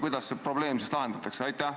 Kuidas see probleem siis lahendatakse?